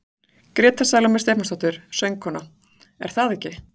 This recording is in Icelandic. Gréta Salóme Stefánsdóttir, söngkona: Er það ekki?